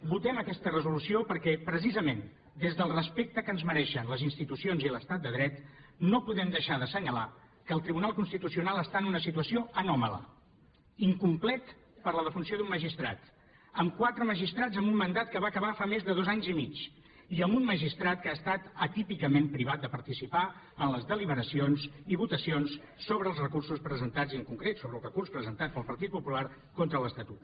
votem aquesta resolució perquè precisament des del respecte que ens mereixen les institucions i l’estat de dret no podem deixar d’assenyalar que el tribunal constitucional està en una situació anòmala incomplet per la defunció d’un magistrat amb quatre magistrats amb un mandat que va acabar fa més de dos anys i mig i amb un magistrat que ha estat atípicament privat de participar en les deliberacions i votacions sobre els recursos presentats i en concret sobre el recurs presentat pel partit popular contra l’estatut